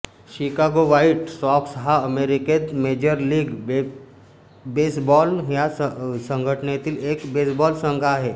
Chicago White Sox हा अमेरिकेत major league baseball या संघटनेतील एक बेसबॉल संघ आहे